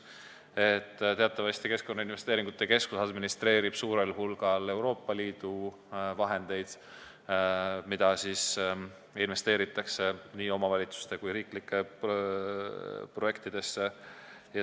Teatavasti administreerib Keskkonnainvesteeringute Keskus suurel hulgal Euroopa Liidu vahendeid, mida investeeritakse nii omavalitsuste kui riiklikesse projektidesse.